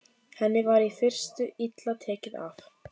Henni var í fyrstu illa tekið af